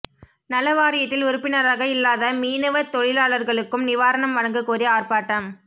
நல வாரியத்தில் உறுப்பினராக இல்லாத மீனவத் தொழிலாளா்களுக்கும் நிவாரணம் வழங்கக் கோரி ஆா்ப்பாட்டம்